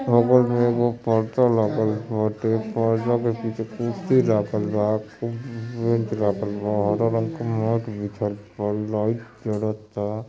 बगल में एगो पर्दा लागल बाटे पर्दा के पीछे कुर्शी लागल बा बेंच लागल बा हरा रंग के मैट बिछाल बा लाइट जरता |